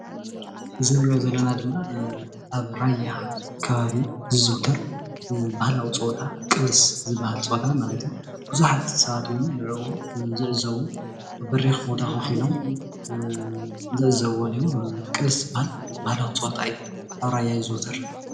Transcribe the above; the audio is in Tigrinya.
እዚ ንርእዮ ዘለና ድማ ኣብ ራያ ከባቢ ዝዝውተር ባህላዊ ፀወታ ቅልስ ዝባሃል ፀወታ ማለት እዩ ብዙሓት ሰባት እውን ንዕኡ ዝዕዘቡ ኣብ በሪኽ ቦታ ከፊሎም ዝዕዘብዎን እዩ ቅልስ ይባሃል ባህላዊ ፀወታ እዩ ኣብ ራያ ይዝውተር